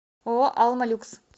ооо алма люкс